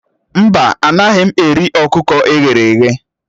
Mba, anaghị m eri ọkụkọ e ghere eghe